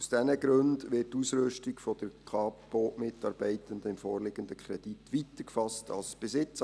Aus diesen Gründen wird die Ausrüstung der Kapo-Mitarbeitenden im vorliegenden Kredit weiter gefasst als bisher.